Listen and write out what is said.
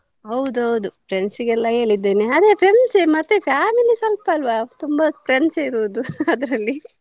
ಹೌದು ಹೌದು friends ಗೆಲ್ಲ ಹೇಳಿದ್ದೇನೆ friends ಅಲ್ಲ ಮತ್ತೆ family ಸ್ವಲ್ಪ ಅಲ್ವ ತುಂಬಾ friends ಇರೋದು ಅದ್ರಲ್ಲಿ .